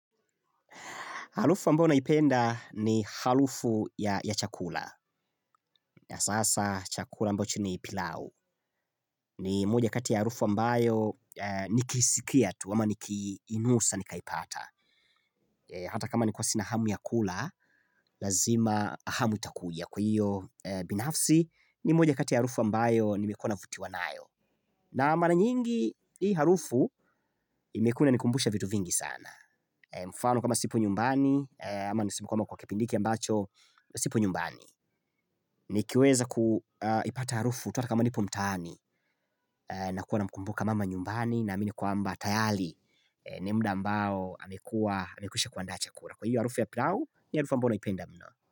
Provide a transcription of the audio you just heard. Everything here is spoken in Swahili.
Harufu ambao naipenda ni harufu ya chakula. Sasa chakula ambacho ni pilau. Ni moja kati ya harufu ambayo nikiisikia tu ama nikiinusa nikaipata. Hata kama ni kuwa sina hamu ya kula, lazima hamu itakuja. Kwa hiyo, binafsi ni moja kati ya harufu ambayo nimekuwa navuti wanayo. Na maana nyingi, hii harufu imekuwa inanikumbusha vitu vingi sana. Mfano kama sipo nyumbani, ama nisipo kama kwa kipindi hiki ambacho, sipo nyumbani Nikiweza kuipata harufu ata kama nipo mtaani na kuwa namkumbuka mama nyumbani na amini kwamba tayari ni mda ambao amekuwa amekwisha kuandaa chakula kwa hivyo harufu ya pilau ni harufu ambayo naipenda mno.